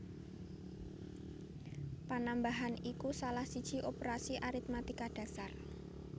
Panambahan iku salah siji operasi aritmatika dhasar